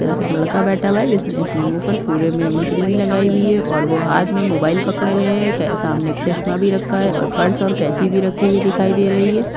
तरफ एक लड़का बैठा हुआ है जिसने अपने मुँह पर पुरे में क्रीम लगाई हुई है और वो हाथ में मोबाइल पकड़े हुए है सामने एक चश्मा भी रखा है पर्स पर कैंची भी रखी हुई दिखाई दे रही है।